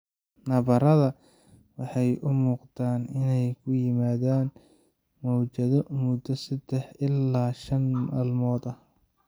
Nabarrada waxay u muuqdaan inay ku yimaadaan mowjado muddo saddex ilaa shan maalmood ah.